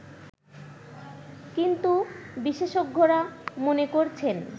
কিন্তু বিশেষজ্ঞরা মনে করছেন